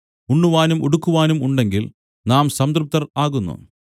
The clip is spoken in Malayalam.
ഉണ്ണുവാനും ഉടുക്കുവാനും ഉണ്ടെങ്കിൽ നാം സംതൃപ്തർ ആകുന്നു